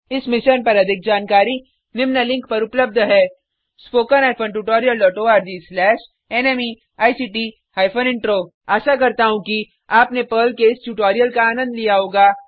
इस मिशन पर अधिक जानकारी निम्न लिंक पर उपलब्ध है spoken hyphen tutorial dot ORG slash NMEICT hyphen intro आशा करता हूँ कि आपने पर्ल के इस ट्यूटोरियल का आनंद लिया होगा